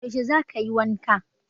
Yaushe za kayi wanka?